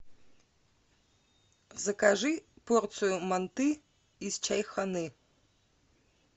закажи порцию манты из чайханы